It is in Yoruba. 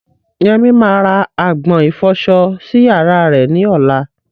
Yemi máa ra agbọ̀n ìfọsọ sí yàrá rẹ̀ ní ọ̀la.